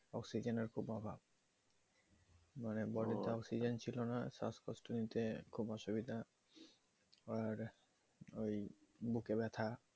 oxyzen এর খুব অভাব মানে বাড়িতে oxygen ছিলো না শ্বাস কষ্ট নিতে খুব অসুবিধা পর ওই বুকে ব্যাথা